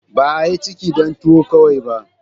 Ba a yi ciki dan tuwo kawai ba.